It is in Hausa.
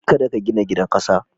Kada ka gina gidan ƙasa.